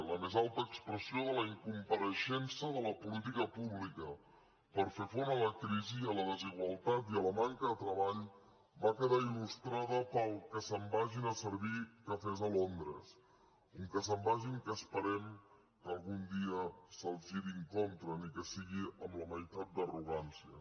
la més alta expressió de la incompareixença de la política pública per fer front a la crisi i a la desigualtat i a la manca de treball va quedar ilpel que se’n vagin a servir cafès a londres un que se’n vagin que esperem que algun dia se’ls giri en contra ni que sigui amb la meitat d’arrogància